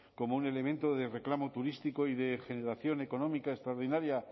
como un elemento de reclamo turístico y de generación económica extraordinaria